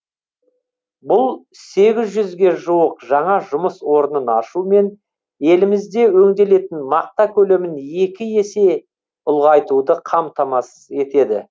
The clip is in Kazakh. бұл сегіз жүзге жуық жаңа жұмыс орнын ашу мен елімізде өңделетін мақта көлемін екі есе ұлғайтуды қамтамасыз етеді